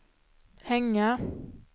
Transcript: hänga